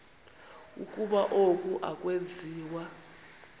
ukuba oku akwenziwa